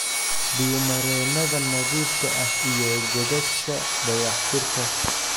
Biyo-mareennada nadiifka ah iyo godadka dayactirka